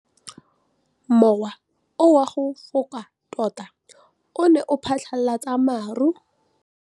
Mowa o wa go foka tota o ne wa phatlalatsa maru.